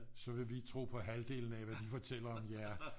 Så vil vi tro på halvdelen af hvad de fortæller om jer